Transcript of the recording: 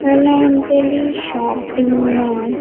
Hello Anjali shopping mall.